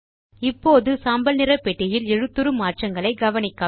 இப்போது சாம்பல் நிற பெட்டியில் எழுத்துரு மாற்றங்களை கவனிக்கவும்